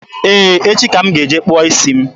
Ee, echi ka m ga-eje kpụọ isi m.